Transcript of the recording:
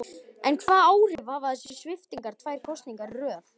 En hvaða áhrif hafa þessar sviptingar tvær kosningar í röð?